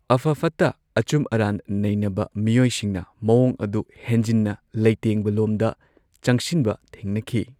ꯑꯐ ꯐꯠꯇ ꯑꯆꯨꯝ ꯑꯔꯥꯟ ꯅꯩꯅꯕ ꯃꯤꯑꯣꯏꯁꯤꯡꯅ ꯃꯑꯣꯡ ꯑꯗꯨ ꯍꯦꯟꯖꯤꯟꯅ ꯂꯩꯇꯦꯡꯕꯂꯣꯝꯗ ꯆꯪꯁꯤꯟꯕ ꯊꯦꯡꯅꯈꯤ꯫